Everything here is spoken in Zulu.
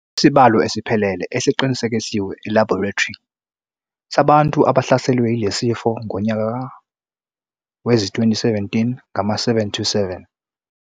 Isibalo esiphelele esiqinisekiswe elabhorethri sabantu abahlaselwe yilesi sifo ngonyaka wezi2017 ngama-727.